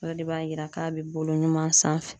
O de b'a yira k'a bɛ bolo ɲuman sanfɛ .